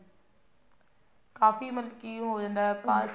ਕਾਫੀ ਮਤਲਬ ਉਹ ਹੋ ਜਾਂਦਾ